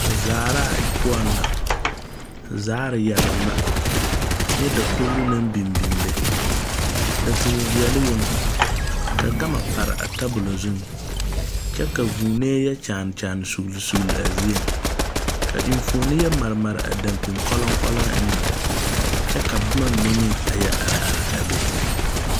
Zaaraa pou na zaari yelon na kye dakouri nang bing bing be dakɔg vieli yong ka gama pare a tabulo zu kye ka vuunee ye kyaane kyaane sugli sugli a zeɛ ka mfuoni ye mare mare a dankpining kolon kolon enga kye ka buma mene meng a ye arẽ arẽ a be.